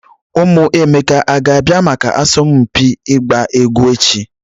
Ụmụ Emeka a ga-abịa maka asọmpi ịgba egwu echi?